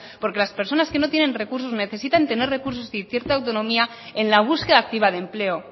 porque las personas que no tienen recursos necesitan tener recursos y cierta autonomía en la búsqueda activa de empleo